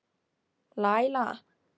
Laíla, hvað er á dagatalinu mínu í dag?